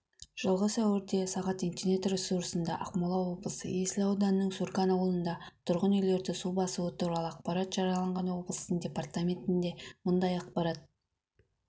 жылғы сәуірде сағат интернет-ресурсында ақмола облысы есіл ауданының сурган ауылында тұрғын үйлерді су басуы туралы ақпарат жарияланған облыстың департаментінде бұндай ақпарат